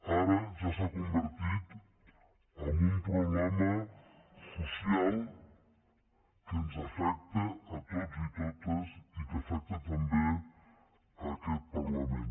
ara ja s’ha convertit en un problema social que ens afecta a tots i totes i que afecta també aquest parlament